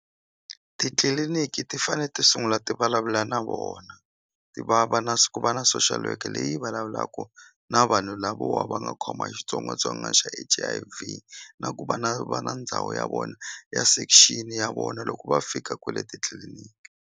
Titliliniki ti fane ti sungula ti vulavula na vona ti va va na ku va na social worker leyi vulavulaku na vanhu lavo wa nga khoma hi xitsongwatsongwana xa H_I_V na ku va na va na ndhawu ya vona ya section ya vona loko va fika kwele titliliniki.